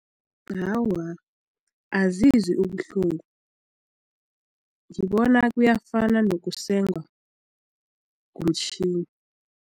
Awa, azizwi ubuhlungu ngibona kuyafana nokusengwa ngomtjhini.